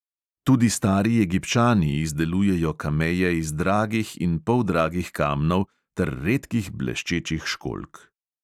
Tudi stari egipčani izdelujejo kameje iz dragih in poldragih kamnov ter redkih bleščečih školjk.